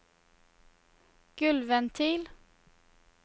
gulvventil